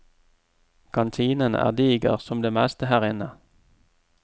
Kantinen er diger, som det meste her inne.